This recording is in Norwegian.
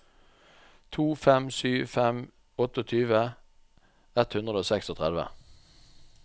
to fem sju fem tjueåtte ett hundre og trettiseks